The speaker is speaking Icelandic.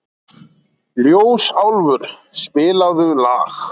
Ljósálfur, spilaðu lag.